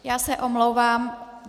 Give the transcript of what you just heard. Já se omlouvám.